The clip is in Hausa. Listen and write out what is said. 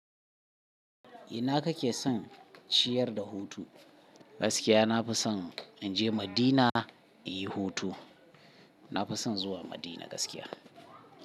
Ina kake son ciyar da hutu? Gaskiya na fi son in je Madina in yi hutu. Na fi son zuwa Madina gaskiya.